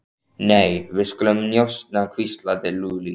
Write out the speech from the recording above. Nei, við skulum njósna hvíslaði Lúlli.